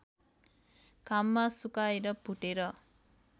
घाममा सुकाएर भुटेर